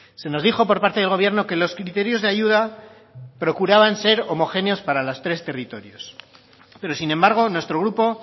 se nos dijo por parte del gobierno que los criterios de ayuda procuraban ser homogéneos para los tres territorios pero sin embargo nuestro grupo